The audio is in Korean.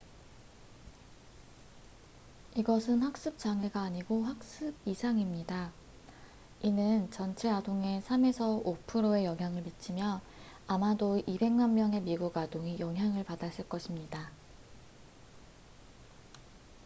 "이것은 학습 장애가 아니고 학습 이상입니다. 이는 "전체 아동의 3~5%에 영향을 미치며 아마도 2백만 명의 미국 아동이 영향을 받았을 것입니다"".